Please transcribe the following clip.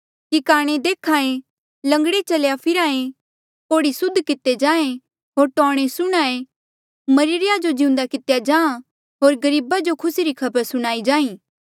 कि काणे देख्हा ऐें लंगड़े चल्हा फिरहा ऐें कोढ़ी सुद्ध किते जाहें होर टौणें सुणहां ऐें मरिरे या जो जिउंदा कितेया जाहाँ होर गरीबा जो खुसी री खबर सुणाई जाहीं